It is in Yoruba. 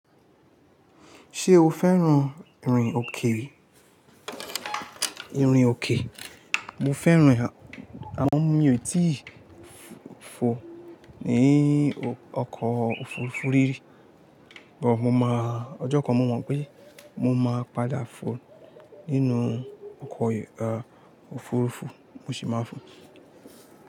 Ṣé o fẹ́ràn ìrìn òkè? Ìrìn òkè, mo fẹ́ràn ẹ amo mí ò tíì fò ní ọkọ̀ òfurufú rírì, bọ ọjọ́ kan mo mọ̀ pé mo máa padà fò nínú ọkọ̀ òfurufú mo sì máa fò.